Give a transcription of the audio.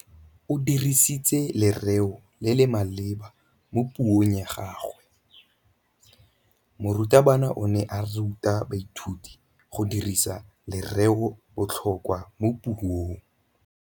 O dirisitse lerêo le le maleba mo puông ya gagwe. Morutabana o ne a ruta baithuti go dirisa lêrêôbotlhôkwa mo puong.